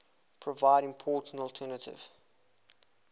provide important alternative